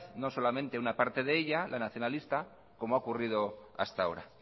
no solamente a una parte de ella la nacionalista cómo ha ocurrido hasta ahora